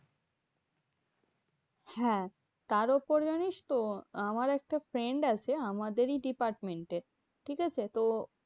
হ্যাঁ তার উপর জানিস তো? আমার একটা friend আছে আমাদেরই department এ ঠিকাছে? তো